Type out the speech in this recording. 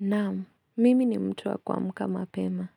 Naamu, mimi ni mtu wa kuamka mapema.